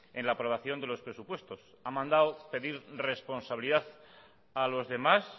en la aprobación de los presupuestos ha mandado pedir responsabilidad a los demás